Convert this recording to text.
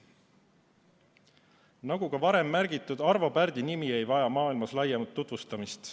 Nagu ka varem märgitud, Arvo Pärdi nimi ei vaja maailmas laiemat tutvustamist.